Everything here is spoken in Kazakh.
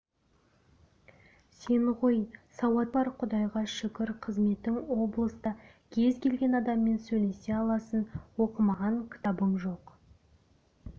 сен ғой сауатың бар құдайға шүкір қызметің облыста кез келген адаммен сөйлесе аласың оқымаған кітабың жоқ